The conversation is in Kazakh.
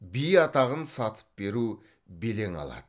би атағын сатып беру белең алады